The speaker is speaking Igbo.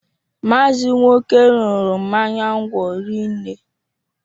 Maazi Nwoke ñuru mmanya ńgwọ rinne